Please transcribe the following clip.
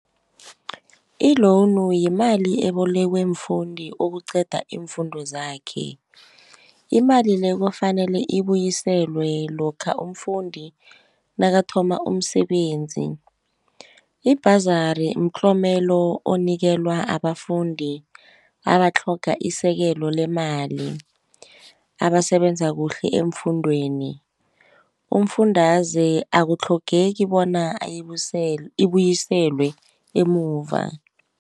I-loan yimali ebolekwe umfundi okuqeda iimfundo zakhe. Imali le, kufanele ibuyiselwe lokha umfundi nakathoma umsebenzi. I-bursary mtlomelo omnikelwa abafundi abatlhoga isekelo lemali abasebenza kuhle eemfundeni. Umfundaze akutlhogeki bona ibuyiselwe emuva.